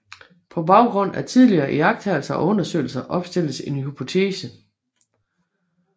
På baggrund af tidligere iagttagelser og undersøgelser opstilles en hypotese